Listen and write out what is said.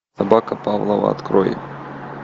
собака павлова открой